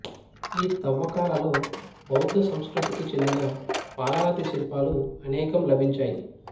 ఈ తవ్వకాల బౌద్ధ సంస్కృతికి చెందిన పాలరాతి శిల్పాలు అనేకం లభించాయి